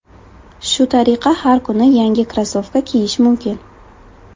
Shu tariqa har kuni yangi krossovka kiyish mumkin.